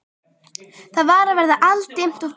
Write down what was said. Það var að verða aldimmt og farið að snjóa.